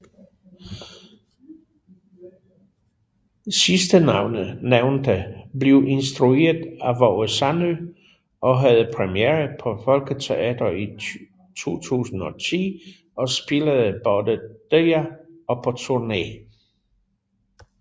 Sidstnævnte blev instrueret af Waage Sandø og havde premiere på Folketeatret i 2010 og spillede både der og på turné